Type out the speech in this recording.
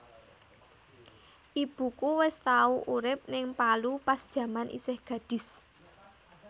Ibuku wes tau urip ning Palu pas jaman isih gadis